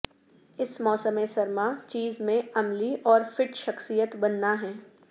اس موسم سرما چیز میں عملی اور فٹ شخصیت بننا ہے